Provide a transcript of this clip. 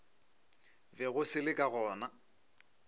bego se le ka gona